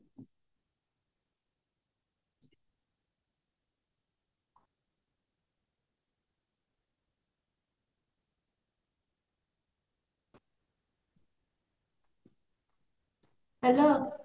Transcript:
hello